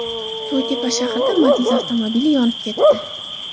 To‘ytepa shahrida Matiz avtomobili yonib ketdi.